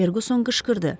Ferquson qışqırdı.